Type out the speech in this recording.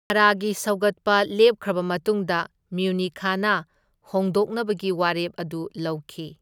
ꯃꯔꯒꯤ ꯁꯧꯒꯠꯄ ꯂꯦꯞꯈ꯭ꯔꯕ ꯃꯇꯨꯡꯗ ꯃ꯭ꯌꯨꯅꯤꯈꯅ ꯍꯣꯡꯗꯣꯛꯅꯕꯒꯤ ꯋꯥꯔꯦꯞ ꯑꯗꯨ ꯂꯧꯈꯤ꯫